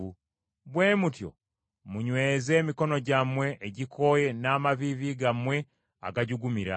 Bwe mutyo munyweze emikono gyammwe egikooye n’amaviivi gammwe agajugumira,